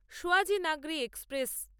Sayaji Nagari express